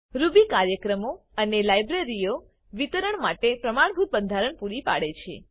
Ruby કાર્યક્રમો અને લાઈબ્રેરીઓ વિતરણ માટે પ્રમાણભૂત બંધારણ પૂરી પાડે છે